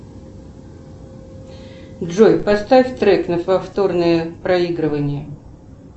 джой поставь трек на повторное проигрывание